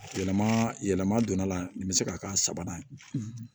Yɛlɛma yɛlɛma donn'a la nin bɛ se k'a k'a la sabanan ye